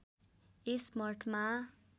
यस मठमा